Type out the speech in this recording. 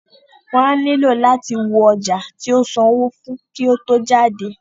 Wọ́n á nílò láti wo ọjà tí o sanwó fún kí o tó jáde.